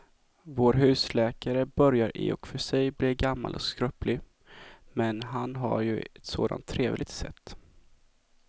Vår husläkare börjar i och för sig bli gammal och skröplig, men han har ju ett sådant trevligt sätt!